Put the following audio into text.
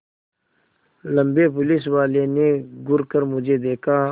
लम्बे पुलिसवाले ने घूर कर मुझे देखा